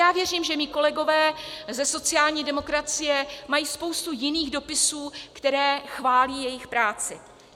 Já věřím, že mí kolegové ze sociální demokracie mají spoustu jiných dopisů, které chválí jejich práci.